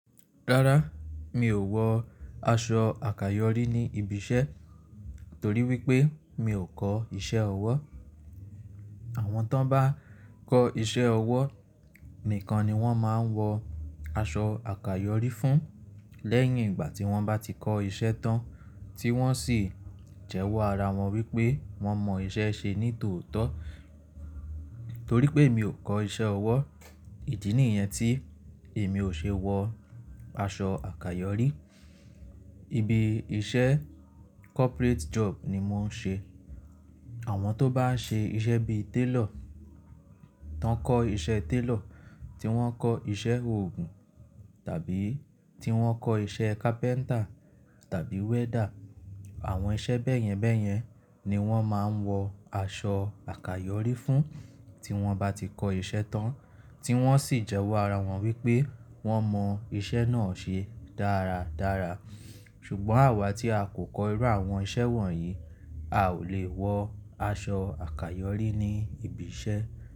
Rárá, mi ò wọ aṣọ àkàyọ́rí ní ibi iṣẹ́ torí wípé mi ò kọ́ iṣẹ́ ọwọ́. Àwọn tón bá kọ́ iṣẹ́ ọwọ́ nìkan ni wón máa ń wọ aṣọ àkàyọ́rí fún lẹ́yìn ìgbà tí wón bá ti kọ́ iṣẹ́ tán tí wón sì jẹ́wọ́ ara wọn wípé wón mọ iṣẹ́ ṣe ní tòótọ́. Torí pé mi ò kọ́ iṣẹ́ ọwọ́, ìdí nìyẹn tí èmi ò ṣe wọ aṣọ àkàyọ́rí. Ibi iṣẹ́ corporate job ni mò ń ṣe. Àwọn tó bá ṣe iṣẹ́ bíi télọ̀, tán kọ́ iṣẹ́ télọ̀, tí wón kọ́ iṣẹ́ òògùn tàbí tí wón kọ́ iṣẹ́ carpenter tàbí welder, àwọn iṣẹ́ bẹ́yẹn bẹ́yẹn ni wón máa ń wọ aṣọ àkàyọ́rí fún tí wón bá ti kọ́ iṣẹ́ tán tí wón sì jẹ́wọ́ ara wọn wípé wón mọ iṣẹ́ náà ṣe dáradára. Ṣùgbọ́n àwa tí a kò kọ́ irú àwọn iṣẹ́ wọ̀nyí, a ò lè wọ aṣọ àkàyọ́rí ní ibi iṣẹ́.